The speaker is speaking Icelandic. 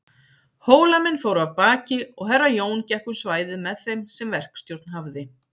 Hólamenn fóru af baki og Herra Jón gekk um svæðið með þeim sem verkstjórn hafði.